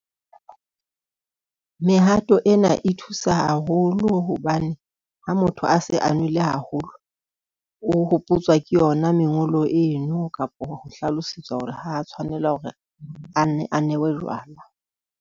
Mehato ena e thusa haholo hobane ha motho a se a nwele haholo, o hopotswa ke yona mengolo eno kapa ho hlalosetswa hore ha tshwanela hore a nne a nwe bojwala.